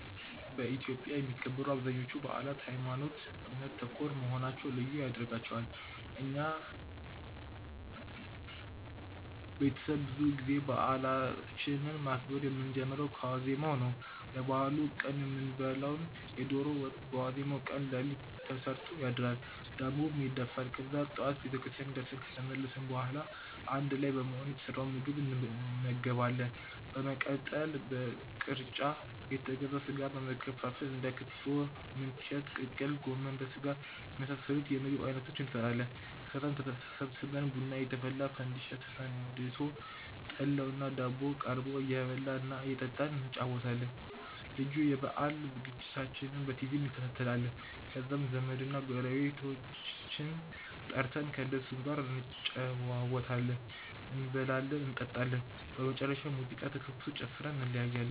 በኢትዮጵያ የሚከበሩ አብዛኞቹ በአላት ሀይማኖት ( እምነት) ተኮር መሆናቸው ልዩ ያደርጋቸዋል። እና የኛ ቤተሰብ ብዙ ጊዜ በአላችንን ማክበር የምንጀምረው ከዋዜማው ነው። ለበአሉ ቀን የምንበላውን የዶሮ ወጥ በዋዜማው ቀን ሌሊት ተሰርቶ ይታደራል፤ ዳቦም ይደፋል። ከዛ ጠዋት ቤተክርስቲያን ደርሰን ከተመለስን በኋላ አንድ ላይ በመሆን የተሰራውን ምግብ እንመገባለን። በመቀጠል በቅርጫ የተገዛውን ስጋ በመከፋፈል እንደ ክትፎ፣ ምንቸት፣ ቅቅል፣ ጎመን በስጋና የመሳሰሉት የምግብ አይነቶችን እንሰራለን። ከዛም ተሰብስበን ቡና እየተፈላ፣ ፈንዲሻ ተፈንድሶ፣ ጠላውና ዳቦው ቀርቦ እየበላን እና እየጠጣን እንጨዋወታለን። ልዩ የበአል ዝግጅቶችንም በቲቪ እንከታተላለን። ከዛም ዘመድና ጎረቤቶቻችንን ጠርተን ከእነሱም ጋር እንጨዋወታለን፤ እንበላለን እንጠጣለን። በመጨረሻም ሙዚቃ ተከፍቶ ጨፍረን እንለያያለን።